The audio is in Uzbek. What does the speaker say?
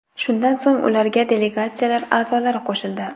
Shundan so‘ng ularga delegatsiyalar a’zolari qo‘shildi.